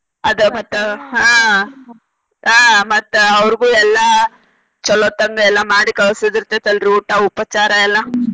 ಅದ ಮತ್ತ ಆಹ್ ಆಹ್ ಮತ್ತ ಅವ್ರಿಗು ಎಲ್ಲ ಚೊಲೋತಂಗ ಎಲ್ಲ ಮಾಡಿ ಕಳ್ಸುದ ಇರ್ತೆತಿ ಅಲ್ರಿ ಊಟ ಉಪಚಾರ ಎಲ್ಲ